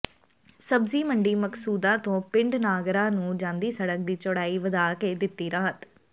ਸਬਜ਼ੀ ਮੰਡੀ ਮਕਸੂਦਾਂ ਤੋਂ ਪਿੰਡ ਨਾਗਰਾ ਨੂੰ ਜਾਂਦੀ ਸੜਕ ਦੀ ਚੌੜਾਈ ਵਧਾ ਕੇ ਦਿੱਤੀ ਰਾਹਤ